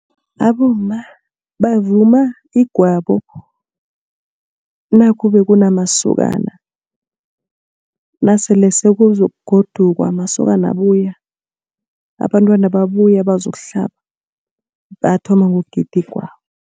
Abomma bavuma igwabo nakube kunamasokana, nasele sekuzokugodukwa amasokana abuya, abantwana babuya bazokuhlaba bayathoma ngokugida igwabo.